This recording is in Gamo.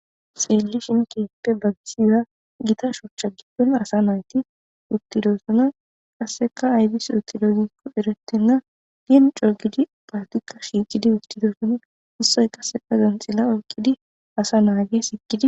Xeellishin keeppe babsiya gita shochcha gidin asa nayti uttidosuna qasseka aydis uttido gikko erettenna hen cogidi naytika shiiqidi uttidoson ussoy qasseka zanxila olqidi asa naage sikidi.